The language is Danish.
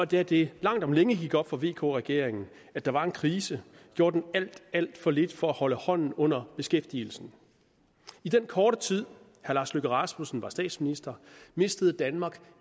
da det langt om længe gik op for vk regeringen at der var en krise gjorde den alt alt for lidt for at holde hånden under beskæftigelsen i den korte tid herre lars løkke rasmussen var statsminister mistede danmark